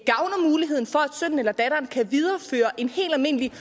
sønnen eller datteren kan videreføre en helt almindelig